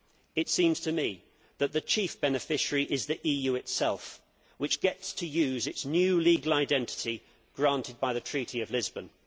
It seems to me that the chief beneficiary is the EU itself, which gets to use its new legal identity granted by the Treaty of Lisbon.